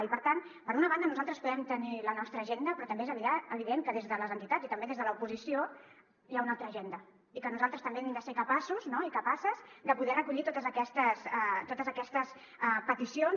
i per tant per una banda nosaltres podem tenir la nostra agenda però també és evident que des de les entitats i també des de l’oposició hi ha una altra agenda i que nosaltres també hem de ser capaços i capaces de poder recollir totes aquestes peticions